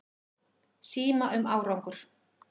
Síma um árangur.